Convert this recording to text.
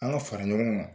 An ka fara ɲɔgɔn kan